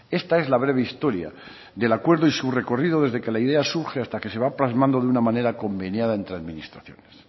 esta es la breve historia del acuerdo y su recorrido desde que la idea surge y hasta que se va plasmando de una manera conveniada entre administraciones